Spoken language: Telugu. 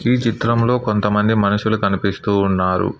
ఈ చిత్రంలో కొంతమంది మనుషులు కనిపిస్తూ ఉన్నారు.